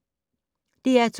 DR2